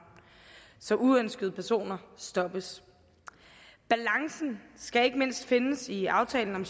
så uønskede personer stoppes balancen skal ikke mindst findes i aftalen om